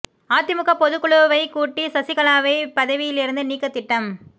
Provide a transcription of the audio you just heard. அதிமுக பொதுக்குழுவைக் கூட்டி சசிகலாவை பதவியிலிருந்து நீக்க திட்டம்